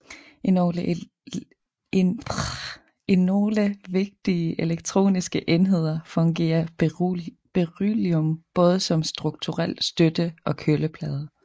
I nogle vigtige elektroniske enheder fungerer beryllium både som strukturel støtte og køleplade